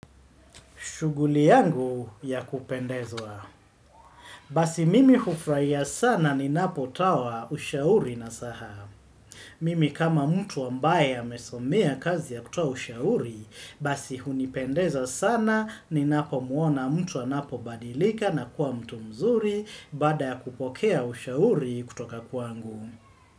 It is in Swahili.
Shughuli yangu ya kupendezwa. Basi mimi hufurahia sana ninapo toa ushauri nasaha. Mimi kama mtu ambaye amesomea kazi ya kutoa ushauri, basi hunipendeza sana ninapo mwona mtu anapo badilika na kuwa mtu mzuri baada ya kupokea ushauri kutoka kwangu.